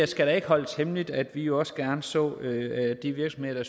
skal ikke holdes hemmeligt at vi jo også gerne så at de virksomheder